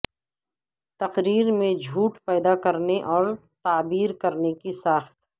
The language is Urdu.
تقریر میں جھوٹ پیدا کرنے اور تعبیر کرنے کی ساخت